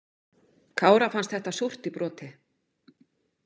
Kára fannst þetta súrt í broti.